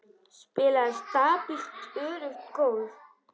Spilaði stabílt öruggt golf.